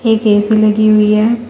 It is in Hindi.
एक ए_सी लगी हुई है।